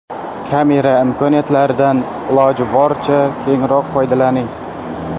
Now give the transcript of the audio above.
Kamera imkoniyatlaridan iloji boricha kengroq foydalaning.